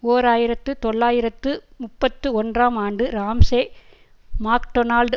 ஓர் ஆயிரத்து தொள்ளாயிரத்து முப்பத்து ஒன்றாம் ஆண்டு ராம்சே மாக்டொனால்ட்